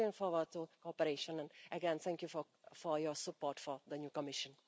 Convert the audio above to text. I am looking forward to your cooperation and again, thank you for your support for the new Commission.